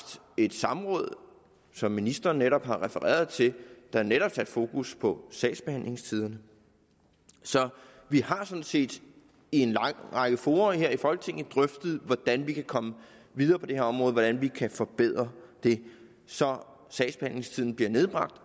et samråd som ministeren netop refererede til der netop satte fokus på sagsbehandlingstiderne så vi har sådan set i en lang række fora her i folketinget drøftet hvordan vi kan komme videre på det her område og hvordan vi kan forbedre det så sagsbehandlingstiden bliver nedbragt